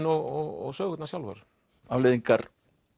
og sögurnar sjálfar afleiðingar